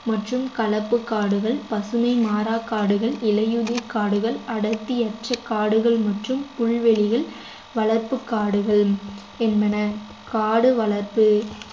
மற்றும் கலப்பு காடுகள் பசுமை மாறா காடுகள் இலையுதிர் காடுகள் அடர்த்தியற்ற காடுகள் மற்றும் புல்வெளியில் வளர்ப்பு காடுகள் என்பன காடு வளர்ப்பு